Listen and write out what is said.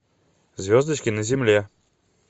звездочки на земле